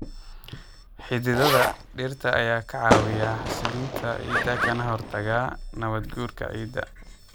Xididdada dhirta ayaa ka caawiya xasilinta ciidda kana hortagaya nabaad guurka ciidda.